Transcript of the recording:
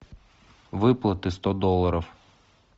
выплаты сто долларов